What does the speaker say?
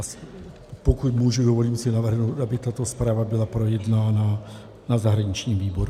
A pokud můžu, dovolím si navrhnout, aby tato zpráva byla projednána na zahraničním výboru.